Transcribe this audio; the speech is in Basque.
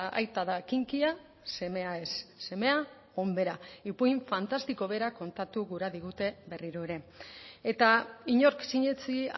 aita da kinkia semea ez semea onbera ipuin fantastiko bera kontatu gura digute berriro ere eta inork sinetsi